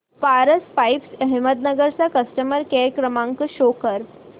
Paras pipes Ahmednagar चा customer care क्रमांक show करा